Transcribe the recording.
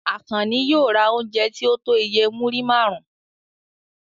Àkànní yóò ra oúnjẹ tí ó tó iye múrí márùn-ún.